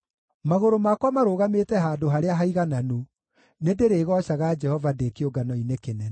Magũrũ makwa marũgamĩte handũ harĩa haigananu; nĩndĩrĩgoocaga Jehova ndĩ kĩũngano-inĩ kĩnene.